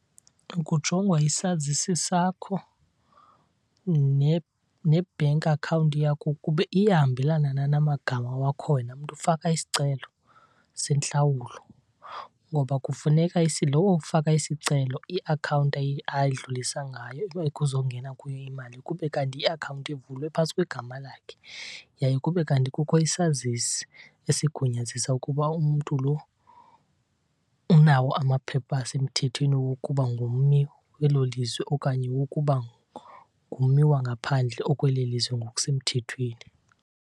Kujongwa isazisi sakho ne-bank account yakho ukuba iyahambelana na namagama wakho wena mntu ufaka isicelo sentlawulo. Ngoba kufuneka lo ofaka isicelo iakhawunti adlulisa ngayo ekuzongena kuyo imali kube kanti yiakhawunti evulwe phantsi kwegama lakhe. Yaye kube kanti kukho isazisi esigunyazisa ukuba umntu lo unawo amaphepha asemthethweni wokuba ngummi welo lizwe okanye wokuba ngummi wangaphandle okweli lizwe ngokusemthethweni.